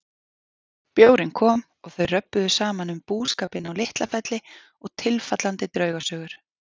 Bjórinn kom og þau röbbuðu saman um búskapinn á LitlaFelli og tilfallandi draugasögur.